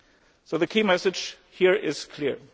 way. So the key message here is clear.